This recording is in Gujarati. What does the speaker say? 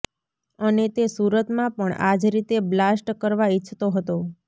અને તે સુરતમાં પણ આ જ રીતે બ્લાસ્ટ કરવા ઇચ્છતો હતો